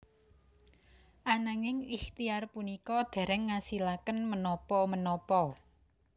Ananging ikhtiar punika dereng ngasilaken menapa menapa